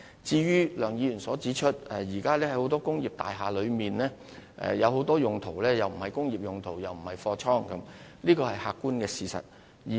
至於梁議員指出，現時很多工業大廈被用作既不是工業又不是貨倉的用途，這是客觀事實。